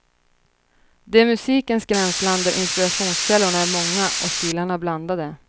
Det musikens gränsland där inspirationskällorna är många och stilarna blandade.